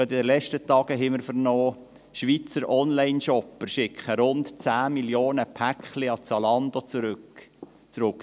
Gerade in den letzten Tagen haben wir vernommen, dass Schweizer Online-Shopper rund zehn Millionen Pakete an Zalando zurückschicken.